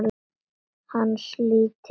Hans lítill.